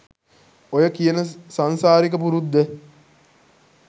ඔය කියන සංසාරික පුරුද්ද